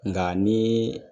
Nga ni